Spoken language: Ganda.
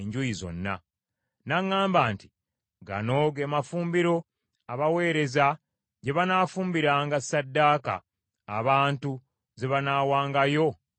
N’aŋŋamba nti, “Gano ge mafumbiro abaweereza gye banaafumbiranga sssaddaaka abantu ze banaawangayo mu yeekaalu.”